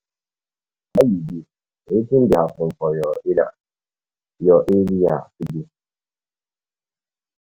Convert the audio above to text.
How you dey, wetin dey happen for your area your area today?